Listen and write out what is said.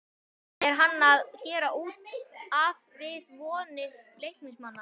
ER HANN AÐ GERA ÚT AF VIÐ VONIR LEIKNISMANNA???